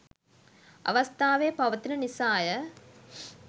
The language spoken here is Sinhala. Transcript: අවස්ථාවේ පවතින නිසාය